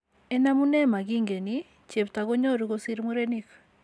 En amunee nemakiinken, cheebta konyoru kosir murenik.